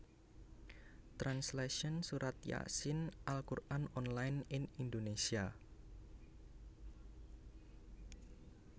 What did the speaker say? Translation Surat Yaa Siin Al Qur an online in Indonesia